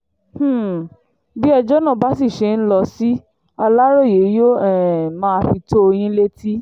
um bí ẹjọ́ náà bá sì ṣe ń lọ sí aláròye yóò um máa fi tó yín létí